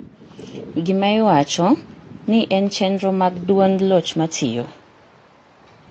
gima iwacho ni en chenro mag duond loch matiyo